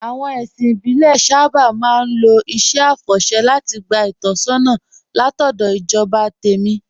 Àwọn ẹ̀sìn ìbílẹ̀ sábà máa ń lo iṣẹ́ àfọ̀ṣẹ́ láti gba ìtọ́sọ́nà látọ̀dọ̀ ìjọba tẹ̀mí